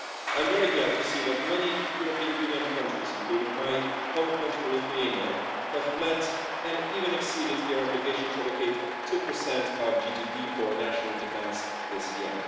I'm very glad to see that many European Union countries, including my home country Lithuania have met and even exceeded their obligation to allocate 2 of GDP for national defence this year.